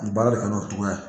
N baara de kɛ n'o cogoya ye